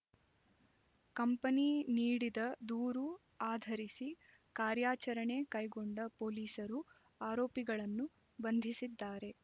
company ನೀಡಿದ ದೂರು ಆಧರಿಸಿ ಕಾರ್ಯಾಚರಣೆ ಕೈಗೊಂಡ ಪೊಲೀಸರು ಆರೋಪಿಗಳನ್ನು ಬಂಧಿಸಿದ್ದಾರೆ